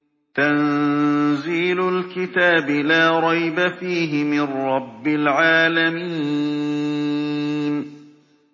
تَنزِيلُ الْكِتَابِ لَا رَيْبَ فِيهِ مِن رَّبِّ الْعَالَمِينَ